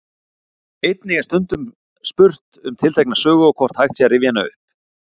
Einnig er stundum spurt um tiltekna sögu og hvort hægt sé að rifja hana upp.